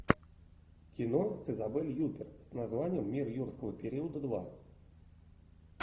кино с изабель юппер с названием мир юрского периода два